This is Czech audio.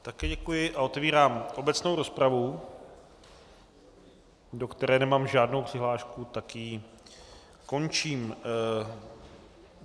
Také děkuji a otevírám obecnou rozpravu, do které nemám žádnou přihlášku, tak ji končím.